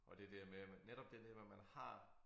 Og det der med at man netop det der med man har